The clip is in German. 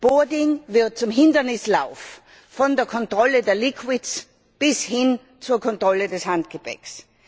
Boarding wird zum Hindernislauf von der Kontrolle der bis hin zur Kontrolle des Handgepäcks.